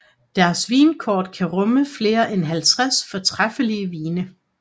Deres vinkort kan rumme flere end 50 fortræffelige vine